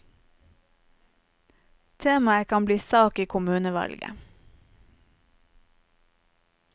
Temaet kan bli sak i kommunevalget.